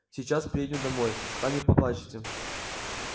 сейчас приедем домой там и поплачете